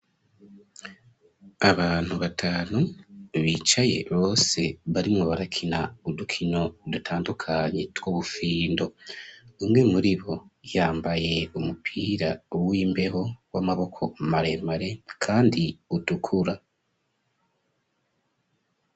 Abantu batanu bicaye bose barimwo barakina udukino udutandukanyi twobufindo umwe muri bo yambaye umupira w'imbeho w'amaboko maremare, kandi udukura.